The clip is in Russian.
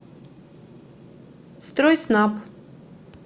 стройснаб